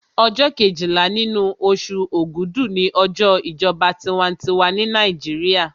Ọjọ́ kejìlá nínú oṣù ògúdù ni ọjọ́ ìjọba tinwatinwa ní Nàìjíríà